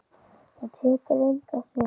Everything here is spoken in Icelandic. Það tekur enga stund.